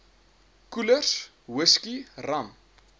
koelers whisky rum